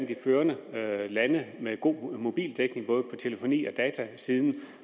de førende lande med god mobildækning både på telefoni og datasiden